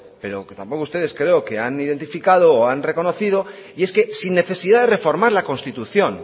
pero que tampoco ustedes creo que han identificado o han reconocido y es que sin necesidad de reformar la constitución